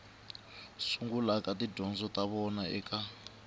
sungulaka tidyondzo ta vona eka